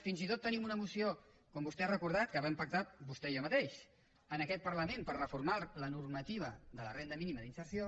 fins i tot temin una moció com vostè ha recordat que vam pactar vostè i jo mateix en aquest parlament per reformar la normativa de la renda mínima d’inserció